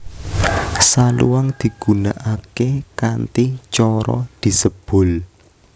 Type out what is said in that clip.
Saluang digunakake kanthi cara disebul